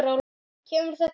kemur þetta fram